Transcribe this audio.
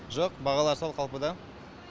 жоқ бағалар сол қалпыда